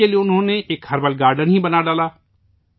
اس کے لیے انہوں نے ایک ہربل گارڈن ہی بنا ڈالا